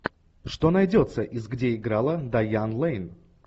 что найдется из где играла дайан лэйн